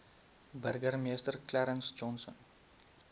burgemeester clarence johnson